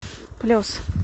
плес